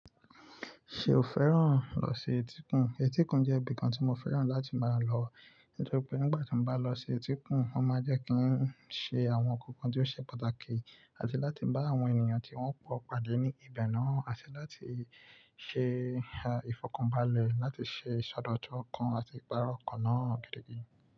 Ṣe o fẹ́ràn lọ sí etíkùn? Etíkun jẹ́ ibìkan tí mo fẹ́ràn láti máa lọ, nítorí pé nígbà tí mo bá lọ sí etíkun, wọ́n máa jẹ́ kí n ṣe àwọn nǹkan kan tí ó ṣe pàtàkì, àti láti bá àwọn ènìyàn tí wọ́n pọ̀ pàdé ní igba náà, àti láti ṣe ìfọ̀kànbalẹ̀, láti ṣe ìsọdọ̀tún ọkàn àti ìpàro ọkàn náà gidi gan.